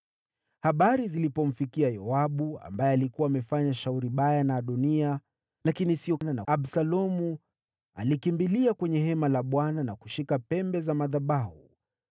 Habari zilipomfikia Yoabu, ambaye alikuwa amefanya shauri baya na Adoniya, lakini sio na Absalomu, alikimbilia kwenye hema la Bwana na kushika pembe za madhabahu.